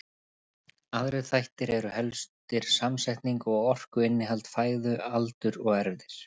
Aðrir þættir eru helstir samsetning og orkuinnihald fæðu, aldur og erfðir.